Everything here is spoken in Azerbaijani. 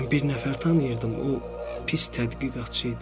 Mən bir nəfər tanıyırdım, o pis tədqiqatçı idi.